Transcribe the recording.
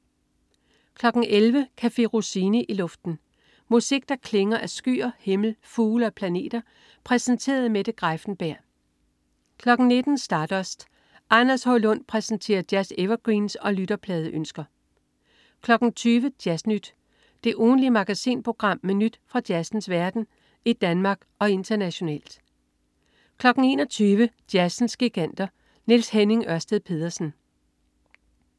11.00 Café Rossini i luften. Musik der klinger af skyer, himmel, fugle og planeter præsenteret af Mette Greiffenberg 19.00 Stardust. Anders H. Lund præsenterer jazz-evergreens og lytterpladeønsker 20.00 Jazz Nyt. Det ugentlige magasinprogram med nyt fra jazzens verden i Danmark og internationalt 21.00 Jazzens Giganter. Niels Henning Ørsted Pedersen